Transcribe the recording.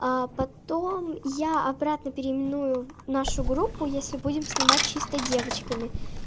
а потом я обратно переименую в нашу группу если будем снимать чисто девочками